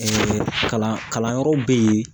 kalanyɔrɔw bɛ yen